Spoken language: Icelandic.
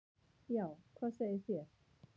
"""Já, hvað segið þér?"""